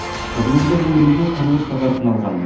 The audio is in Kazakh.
қызылорда өңірінде құрылыс та қарқын алған